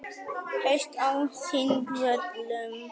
Haust á Þingvöllum.